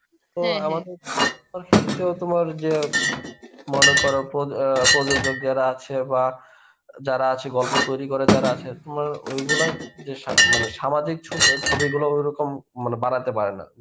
আমাদের তোমার যে মনেকর প্রো~ আ প্রযোজক যারা আছে বা যারা আছে গল্প তৈরী করার যারা আছে মা ওইগুলা যে স~ মানে সামাজিক ছবিগুলো ঐরকম ম মানে বাড়াতে পারে না.